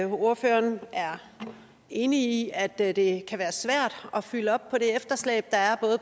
ordføreren er enig i at at det kan være svært at fylde op på det efterslæb der er